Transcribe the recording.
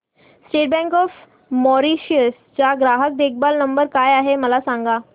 state bank of Mauritius चा ग्राहक देखभाल नंबर काय आहे मला सांगा